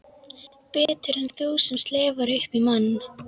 Betur en þú sem slefar upp í mann.